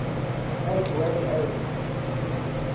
as well as